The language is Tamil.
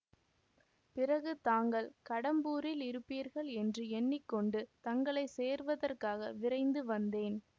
பிறகு தாங்கள் கடம்பூரில் இருப்பீர்கள் என்று எண்ணி கொண்டு தங்களை சேர்வதற்காக விரைந்து வந்தேன்